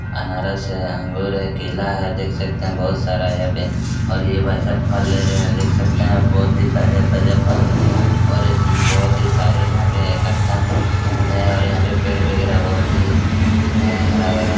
answer है अंगूर है केला है देख सकते है बहुत सारा यहाँ पे और ये भाई साहब फल ले रहे है देख सकते है बहुत ही ताजा-ताजा फल है और इसमें बहुत ही सारे यहाँ पे इकठ्ठा और यहाँ पेड़ बगैरा बहुत हैं हरा-भरा--